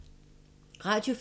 Radio 4